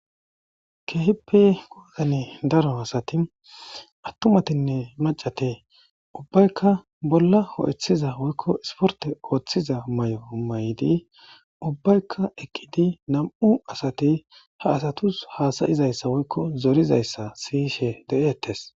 keehippe goozane daro asati attumatinne macate ubbaykka bolla ho7ethiza woykko isporte ooththiza may7o maydi ubbaykka ekkidi nam7u asati ha asatus haasayizayssa woykko zorizayssa siyishe de7eettes